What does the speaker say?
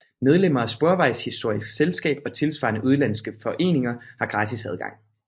Medlemmer af Sporvejshistorisk Selskab og tilsvarende udenlandske foreninger har gratis adgang